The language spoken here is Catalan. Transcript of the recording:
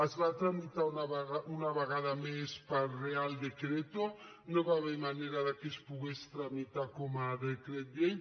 es va tramitar una vegada més per real decretover manera que es pogués tramitar com a decret llei